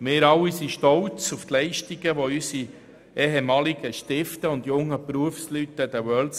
Wir alle sind auf die an den WorldSkills gezeigten Leistungen unserer ehemaligen Lernenden und jungen Berufsleute stolz.